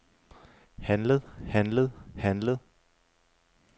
handlet handlet handlet